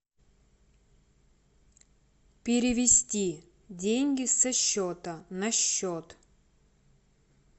перевести деньги со счета на счет